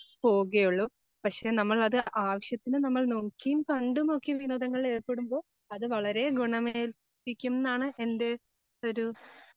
പോവുകയുള്ളൂ പക്ഷേ നമ്മൾ അത് ആവശ്യത്തിന് നമ്മൾ നോക്കിയും കണ്ടുമൊക്കെ വിനോദങ്ങളിൽ ഏർപ്പെടുമ്പോ അത് വളരെ ഗുണം ഏൽപ്പിക്കുമെന്നാണ് എൻ്റെ ഒരു